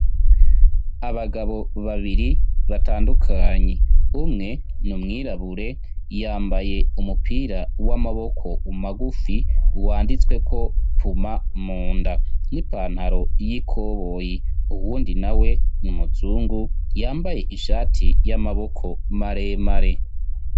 Abagabo babiri batandukanye. Umwe n'umwirabure, yambaye umupira w'amaboko magufi , wanditse ko puma munda, n'ipataro y'ikoboyi. Uwundi na we n'umuzungu yambaye ishati y'amaboko maremare.